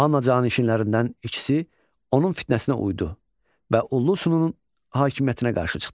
Manna canişinlərindən ikisi onun fitnəsinə uydu və Ullusununun hakimiyyətinə qarşı çıxdı.